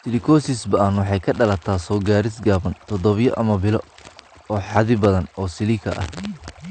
Silicosis ba'an waxay ka dhalataa soo-gaadhis gaaban (toddobaadyo ama bilo) oo xaddi badan oo silica ah.